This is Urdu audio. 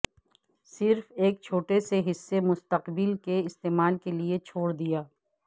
صرف ایک چھوٹے سے حصے مستقبل کے استعمال کے لئے چھوڑ دیا